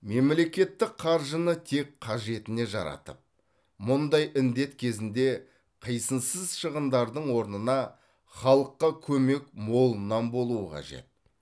мемлекеттік қаржыны тек қажетіне жаратып мұндай індет кезінде қисынсыз шығындардың орнына халыққа көмек молынан болу қажет